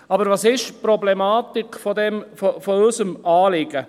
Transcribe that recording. Aber was ist die Problematik unseres Anliegens?